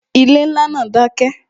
Ilé ńlá náà dákẹ́